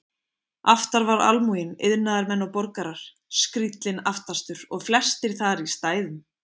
Aftar var almúginn, iðnaðarmenn og borgarar, skríllinn aftastur og flestir þar í stæðum.